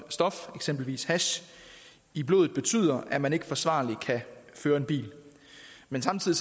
stof eksempelvis hash i blodet betyder at man ikke forsvarligt kan føre en bil men samtidig